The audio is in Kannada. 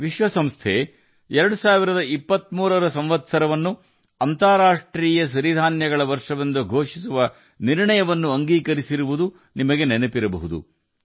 ವಿಶ್ವಸಂಸ್ಥೆಯು 2023ನೇ ವರ್ಷವನ್ನು ಅಂತಾರಾಷ್ಟ್ರೀಯ ಸಿರಿಧಾನ್ಯಗಳ ವರ್ಷವೆಂದು ಘೋಷಿಸುವ ನಿರ್ಣಯವನ್ನು ಅಂಗೀಕರಿಸಿದ್ದು ನಿಮಗೆ ನೆನಪಿರಬಹುದು